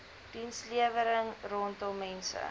dienslewering rondom mense